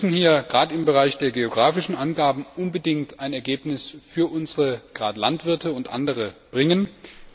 Wir müssen hier gerade im Bereich der geografischen Angaben unbedingt ein Ergebnis für unsere Landwirte und andere Betroffene erzielen.